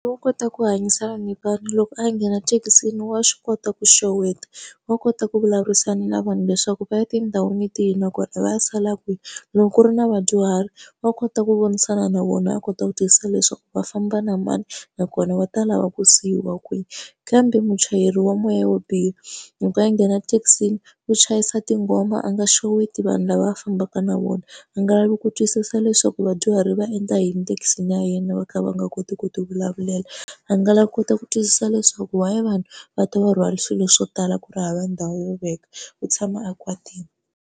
Wa kota ku hanyisana ni vanhu loko a nghena thekisini wa swi kota ku xeweta, wa kota ku vulavurisana na vanhu leswaku va ya tindhawini tihi nakona va ya sala kwihi. Loko ku ri na vadyuhari wa kota ku vonisana na vona a kota ku twisisa leswaku va famba na mani, nakona va ta lava ku siyiwa kwihi. Kambe muchayeri wa moya wo biha, loko a nghena thekisini u chayisa tinghoma a nga xeweti vanhu lava va fambaka na vona, a nga lavi ku twisisa leswaku vadyuhari va endla thekisini ya yena va kha va nga koti ku tivulavulela. A nga lavi ku kota ku twisisa leswaku why vanhu va ta va rhwala swilo swo tala ku ri hava ndhawu yo veka, ku tshama a kwatile.